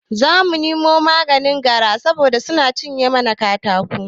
Zamu nemo maganin gara saboda suna cinye mana katako